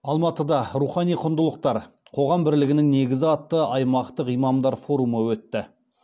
алматыда рухани құндылықтар қоғам бірлігінің негізі атты аймақтық имамдар форумы өтті